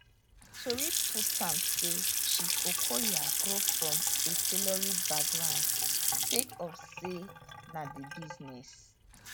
tori put am say chief okoya grow from a tailoring background sake of say na di business